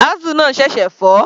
Axle náà ṣẹ̀ṣẹ̀ fọ́.